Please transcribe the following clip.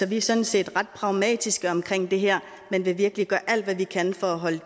vi er sådan set ret pragmatiske omkring det her men vil virkelig gøre alt hvad vi kan for at holde